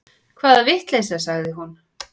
Hvaða vitleysa, sagði hún.